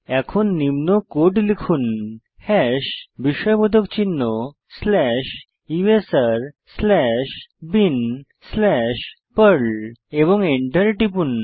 এখন কোড লিখুন হাশ বিস্ময়বোধক চিহ্ন slash USR slash bin slash Perl এবং এন্টার টিপুন